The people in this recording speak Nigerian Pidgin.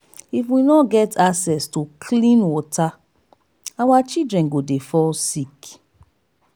if we no get access to clean water our children go dey fall sick.